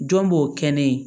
Jɔn b'o kɛ ne ye